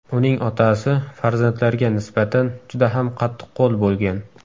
Uning otasi farzandlarga nisbatan juda ham qattiqqo‘l bo‘lgan.